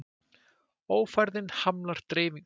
Ófærðin hamlar dreifingu